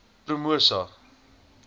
promosa